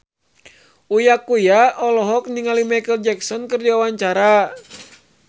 Uya Kuya olohok ningali Micheal Jackson keur diwawancara